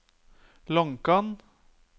Lonkan